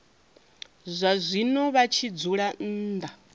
zwazwino vha tshi dzula nnḓa